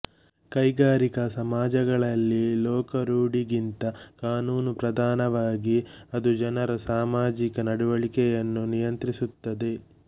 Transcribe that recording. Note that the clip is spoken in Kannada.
ಕೈಗಾರಿಕಾ ಸಮಾಜಗಳಲ್ಲಿ ಲೋಕರೂಢಿಗಿಂತ ಕಾನೂನು ಪ್ರಧಾನವಾಗಿ ಅದು ಜನರ ಸಾಮಾಜಿಕ ನಡೆವಳಿಕೆಗಳನ್ನು ನಿಯಂತ್ರಿಸುತ್ತದೆ